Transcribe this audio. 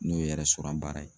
N'o ye baara ye.